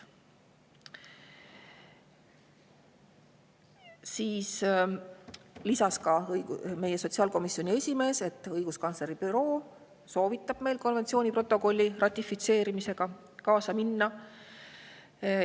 Siis lisas meie sotsiaalkomisjoni esimees, et õiguskantsleri büroo soovitab meil konventsiooni protokolli ratifitseerimisega kaasa minna.